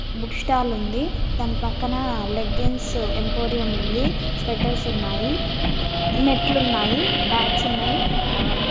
Book stall ఉంది. దాని పక్కన లెగ్గిన్స్ ఎంపోరియం ఉంది స్వెటర్స్ ఉన్నాయి. నెట్ లు ఉన్నాయి బ్యాట్స్ ఉన్నాయి ఆ --